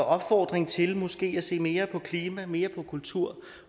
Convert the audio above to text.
opfordring til måske at se mere på klima mere på kultur